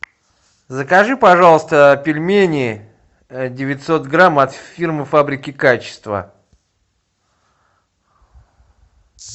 закажи пожалуйста пельмени девятьсот грамм от фирмы фабрики качества